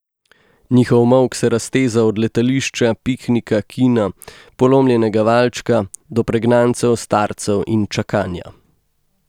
Njihov molk se razteza od letališča, piknika, kina, polomljenega valčka do pregnancev, starcev in čakanja.